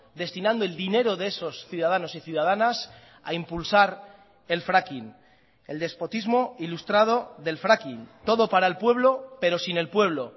destinando el dinero de esos ciudadanos y ciudadanas a impulsar el fracking el despotismo ilustrado del fracking todo para el pueblo pero sin el pueblo